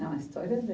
Não, a história é